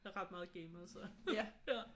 Jeg er ret meget gamer så ja